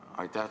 Aitäh!